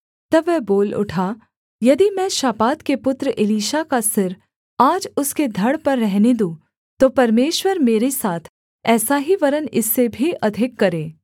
तब वह बोल उठा यदि मैं शापात के पुत्र एलीशा का सिर आज उसके धड़ पर रहने दूँ तो परमेश्वर मेरे साथ ऐसा ही वरन् इससे भी अधिक करे